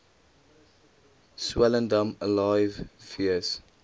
swellendam alive fees